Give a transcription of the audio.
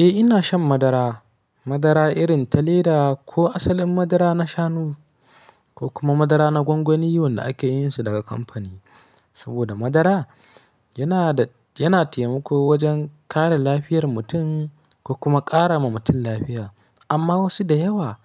Eh ina shan madara, madara irin ta leda ko asalin madara na shanu ko kuma madara na gwangwani wanda ake yin su daga kamfani. Saboda madara yana da, yana taimako wajen kare lafiyar mutum ko kuma ƙara ma mutum lafiya. Amma wasu da yawa